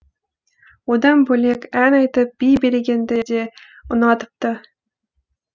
одан бөлек ән айтып би билегенді де ұнатыпты